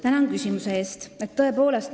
Tänan küsimuse eest!